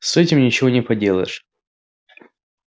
с этим ничего не поделаешь